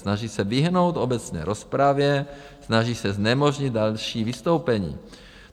Snaží se vyhnout obecné rozpravě, snaží se znemožnit další vystoupení.